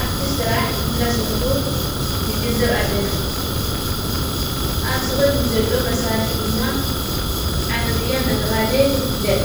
ኣብቲ ሥራሕ እንዳሠርኁ ንግን ዘብ ኣለና ኣብዝ ቕድሚዩ ዘሎ መሣርሕ ድማ ዓረብያ እናተብሃለ ይፍለጥ።